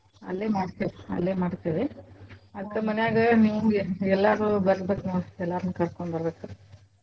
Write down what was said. ಅಲ್ಲೆ ಮಾಡ್ತಿವ್ ಅಲ್ಲೇ ಮಾಡ್ತೀವಿ ಅದ್ಕ ಮನ್ಯಾಗ ನೀವ್ ಎಲ್ಲರೂ ಬರ್ಬೇಕ್ನೋಡ್ ಎಲ್ಲಾರ್ನೂ ಕರ್ಕೊಂಬ್ಬರ್ಬೇಕ.